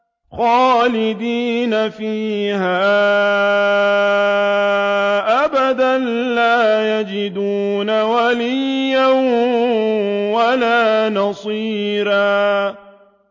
خَالِدِينَ فِيهَا أَبَدًا ۖ لَّا يَجِدُونَ وَلِيًّا وَلَا نَصِيرًا